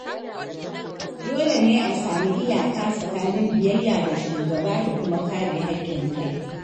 Dole ne a samu iyaka tsakanin biyayya ga shugaba da kuma kare haƙƙin kai.